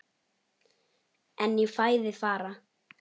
En í fæði fara